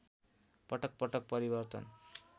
पटकपटक परिवर्तन